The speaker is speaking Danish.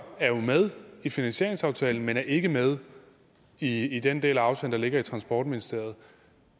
er jo med i finansieringsaftalen men er ikke med i den del af aftalen der ligger i transportministeriet